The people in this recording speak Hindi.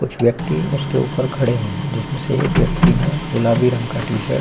कुछ व्यक्ति उसके ऊपर खड़े हैं जिसमे से एक व्यक्ति ने गुलाबी रंग का टी-शर्ट --